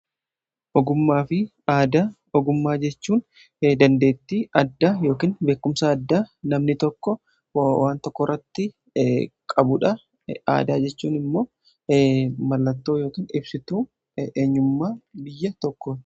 Ogummaa fi aadaa, ogummaa jechuun dandeetti adda yookin beekumsa addaa namni tokko wan tokko Irratti qabuudha. Aadaa jechuun immoo mallattoo yookin ibsituu eenyummaa biyya tokkooti.